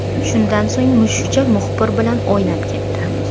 Shundan so‘ng, mushukcha muxbir bilan o‘ynab ketdi.